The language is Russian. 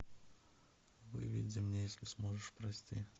выведи мне если сможешь прости